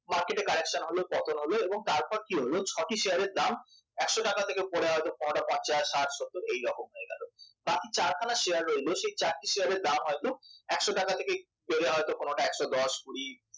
market correction হল পতন হলো এবং তারপর কি হলো ছটি শেয়ারের দাম একশ টাকা থেকে পড়ে হয়তো পঞ্চাশ ষাট সত্ত এইরকম হয়ে গেল বাকি চারখানা শেয়ার রইলো সেই চারটি শেয়ারের দাম হয়তো একশ টাকা থেকে একটু বেড়ে হয়তো কোনটা একশ দশ কুড়ি